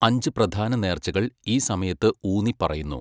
അഞ്ച് പ്രധാന നേർച്ചകൾ ഈ സമയത്ത് ഊന്നിപ്പറയുന്നു.